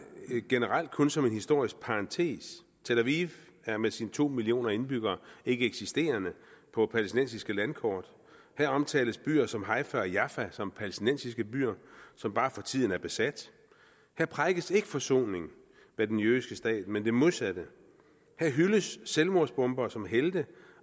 generelt kun som en historisk parentes tel aviv er med sine to millioner indbyggere ikke eksisterende på palæstinensiske landkort her omtales byer som haifa og jaffa som palæstinensiske byer som bare for tiden er besat der prædikes ikke forsoning med den jødiske stat men det modsatte her hyldes selvmordsbombere som helte